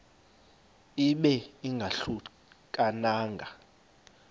ibe ingahluka nanga